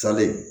Salen